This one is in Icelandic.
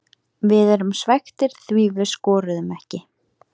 Við erum svekktir því við skoruðum ekki.